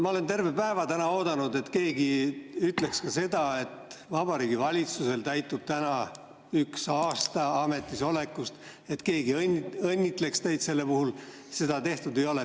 Ma olen terve päeva oodanud, et keegi ütleks, et Vabariigi Valitsusel täitub täna esimene ametisoleku aasta, et keegi õnnitleks teid selle puhul, aga seda ei ole tehtud.